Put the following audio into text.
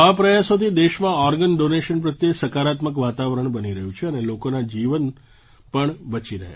આવા પ્રયાસોથી દેશમાં ઑર્ગન ડૉનેશન પ્રત્યે સકારાત્મક વાતાવરણ બની રહ્યું છે અને લોકોનાં જીવન પણ બચી રહ્યાં છે